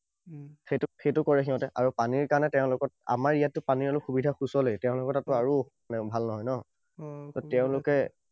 সেইটো সেইটো কৰে সিহঁতে। আৰু পানীৰ কাৰণে তেওঁলোকৰ আমাৰ ইয়াতো পানীৰ কাৰণে সুবিধা সুচলেই। তেওঁলোকৰ তাততো আৰু সিমান ভাল নহয় ন? ত তেওঁলোকে